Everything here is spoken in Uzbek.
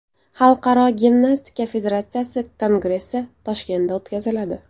Xalqaro gimnastika federatsiyasi Kongressi Toshkentda o‘tkaziladi.